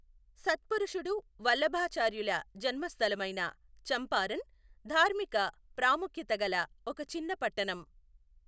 సత్పురుషుడు వల్లభాచార్యుల జన్మస్థలమైన చంపారన్ ధార్మిక ప్రాముఖ్యత గల ఒక చిన్న పట్టణం.